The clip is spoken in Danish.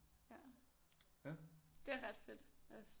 Ja det er ret fedt også